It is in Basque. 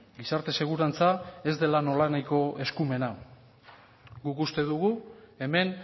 gizarte segurantza ez dela nolanahiko eskumena guk uste dugu hemen